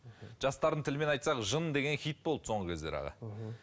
жастардың тілімен айтсақ жын деген хит болды соңғы кездері аға мхм